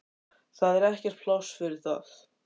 Það er ekkert pláss fyrir það.